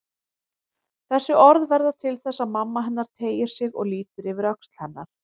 Þessi orð verða til þess að mamma hennar teygir sig og lítur yfir öxl hennar.